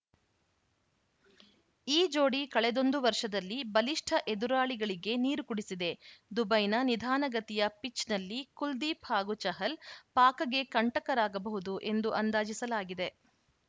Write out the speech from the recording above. ಈ ಜೋಡಿ ಕಳೆದೊಂದು ವರ್ಷದಲ್ಲಿ ಬಲಿಷ್ಠ ಎದುರಾಳಿಗಳಿಗೆ ನೀರು ಕುಡಿಸಿದೆ ದುಬೈನ ನಿಧಾನಗತಿಯ ಪಿಚ್‌ನಲ್ಲಿ ಕುಲ್ದೀಪ್‌ ಹಾಗೂ ಚಹಲ್‌ ಪಾಕ್‌ಗೆ ಕಂಟಕರಾಗಬಹುದು ಎಂದು ಅಂದಾಜಿಸಲಾಗಿದೆ